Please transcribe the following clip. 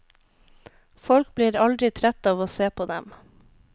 Folk blir aldri trett av å se på dem.